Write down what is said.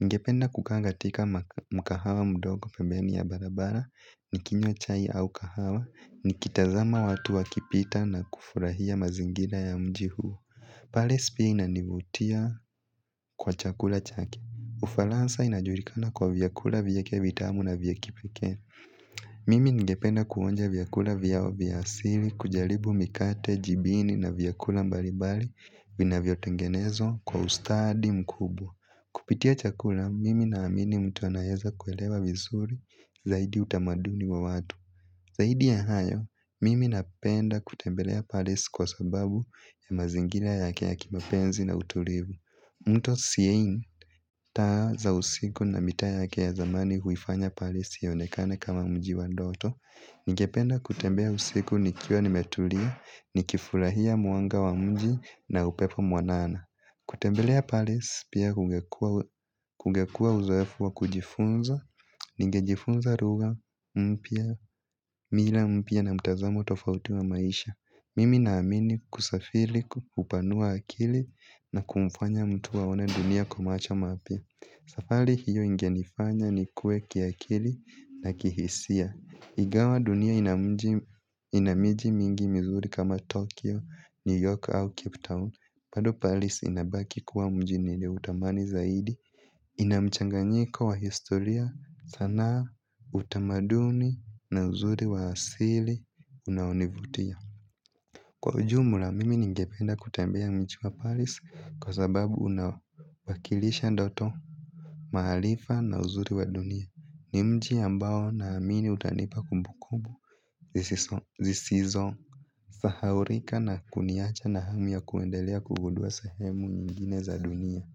Ningependa kukaa katika mkahawa mdogo pembeni ya barabara nikinywa chai au kahawa nikitazama watu wakipita na kufurahia mazingira ya mji huu. Paris pia inanivutia kwa chakula chake. Ufaransa inajulikana kwa vyakula vyake vitamu na vya kipekee. Mimi ningependa kuonja vyakula vyao vya asili, kujaribu mikate, jibini na vyakula mbalimbali vinavyotengenezwa kwa ustadi mkubwa. Kupitia chakula, mimi naamini mtu anayeza kuelewa vizuri zaidi utamaduni wa watu. Zaidi ya hayo, mimi napenda kutembelea parisi kwa sababu ya mazingira yake ya kimapenzi na utulivu. Mto siyei, taa za usiku na mitaa yake ya zamani huifanya parisi ionekane kama mji wa ndoto. Ningependa kutembea usiku nikiwa nimetulia, nikifurahia mwanga wa mji na upepo mwanana. Kutembelea paris pia kungekuwa uzoefu wa kujifunza, ningejifunza lugha, mpya, mila mpya na mtazamo tofauti wa maisha. Mimi naamini kusafiri hupanua akili na kumfanya mtu aone dunia kwa macho mapya. Safari hiyo ingenifanya nikue kiakili na kihisia. Ingawa dunia ina miji mingi mizuri kama Tokyo, New York au Cape Town bado paris inabaki kuwa mji nimeutamani zaidi. Ina mchanganyiko wa historia sanaa utamaduni na uzuri wa asili unaonivutia. Kwa ujumla mimi ningependa kutembea mji wa paris. Kwa sababu unawakilisha ndoto maarifa na uzuri wa dunia. Ni mji ambao naamini utanipa kumbukumbu zisizosahaulika na kuniacha na hamu ya kuendelea kugudua sehemu nyingine za dunia.